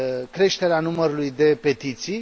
creșterea numărului de petiții.